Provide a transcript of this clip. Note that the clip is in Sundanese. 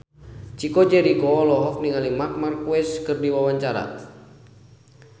Chico Jericho olohok ningali Marc Marquez keur diwawancara